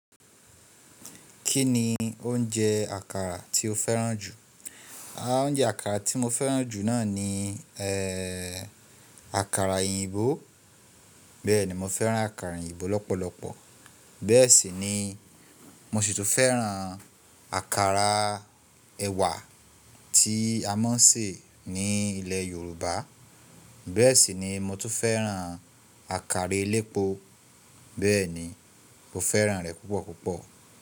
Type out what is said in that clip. Kí ni oúnjẹ àkàrà tí o fẹ́ràn jù? Oúnjẹ àkàrà tí mo fẹ́ràn jù náà ni, ẹ, àkàrà òyìnbó. Bẹ́ẹ̀ni, mo fẹ́ràn àkàrà òyìnbó lọ́pọ̀lọpọ̀. Bẹ́ẹ̀ sì ni mo sì tún fẹ́ràn àkàrà ẹ̀wà tí a máa ń sè ní ilè Yorùbá. Bẹ́ẹ̀ sì ni mo tún fẹ́ràn àkàrà elépo. Bẹ́ẹ̀ni, mo fẹ́ràn rẹ̀ púpọ̀ púpọ̀